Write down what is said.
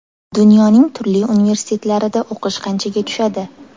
Dunyoning turli universitetlarida o‘qish qanchaga tushadi?.